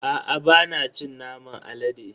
Aa bana cin naman alade.